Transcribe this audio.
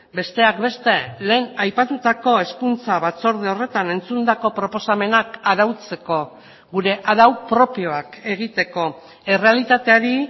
besteak beste lehen aipatutako hezkuntza batzorde horretan entzundako proposamenak arautzeko gure arau propioak egiteko errealitateari